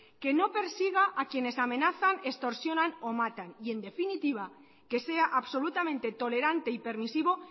que no persiga a quienes amenazan extorsionan o matan y en definitiva que sea absolutamente tolerante y permisivo